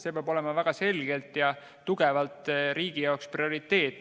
See peab olema väga selgelt ja tugevalt riigi jaoks prioriteet.